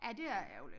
Ja det er ærgerligt